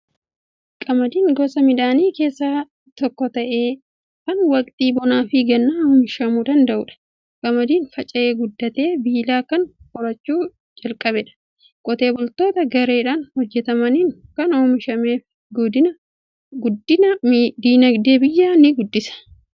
Qamadiin gosa midhaanii keessaa tokko ta'ee, kan waqtii bonaa fi gannaa oomishamuu danda'udha. Qamadiin faca'ee guddatee, biilaa kan horachuu jalqabedha. Qotee bultoota gareedhaan hojjetaniin waan oomishameef, guddina dinagdee biyyaa ni guddisa.